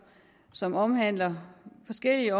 som omhandler forskellige